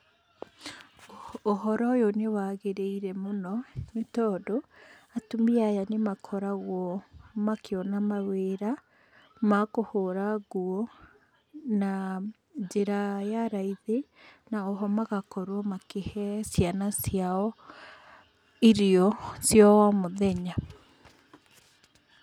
Ũhoro ũyũ nĩ wagĩríĩre mũno nĩ tondũ atumia aya nĩ makoragwo makĩona mawĩra ma kũhũra nguo na njĩra ya raithi na oho magakorwo makĩhe ciana ciao irio cia o mũthenya.